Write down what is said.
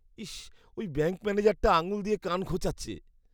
ইস! ওই ব্যাঙ্ক ম্যানেজারটা আঙুল দিয়ে কান খোঁচাচ্ছে।